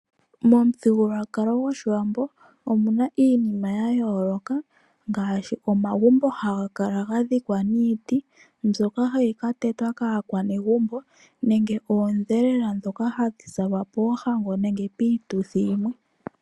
Momuthigululwakalo gOshiwambo omuna iinima yaayoloka ngaashi omagumbo ngoka haga kala ga dhikwa niiti mbyoka hayi ka tetwa kaakwanegumbo nenge oodhelela dhoka hadhi zalwa poohango nenge piituthi yimwe.